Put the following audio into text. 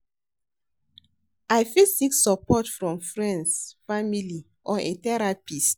I fit seek support from freinds, family or a therapist.